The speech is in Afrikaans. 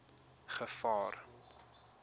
gevaar